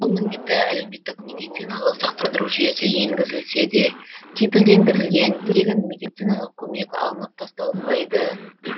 ал міндетті әлеуметтік медициналық сақтандыру жүйесі енгізілсе де кепілдендірілген тегін медициналық көмек алынып тасталынбайды